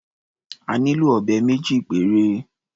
A nílò ọ̀bẹ méjì péré.